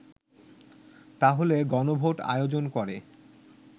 তাহলে গণভোট আয়োজন করে